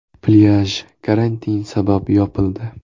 Plyaj karantin sabab yopildi.